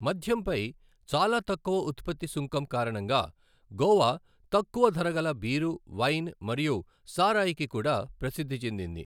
మద్యంపై చాలా తక్కువ ఉత్పత్తి సుంకం కారణంగా గోవా తక్కువ ధరగల బీరు, వైన్ మరియు సారాయికి కూడా ప్రసిద్ధి చెందింది.